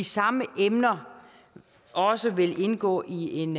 samme emner også vil indgå i en